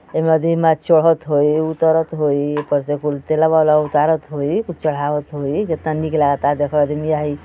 एमे अदमी मार चढ़त होई उतरत होई ऊपर से कुल तेलवा ओलवा उतारत होई कुल चढ़ावत होई। केतना निक लागता देखा अदिमिया हई --